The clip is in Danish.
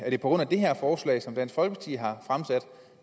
grund af det her forslag som dansk folkeparti har fremsat